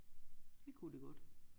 Det kunne det godt